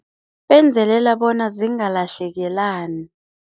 Benzelela bona zingalahlekelani.